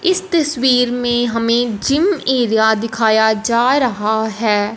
इस तस्वीर में हमें जिम एरिया दिखाया जा रहा है।